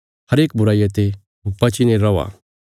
हरेक बुराईया ते बचीने रौआ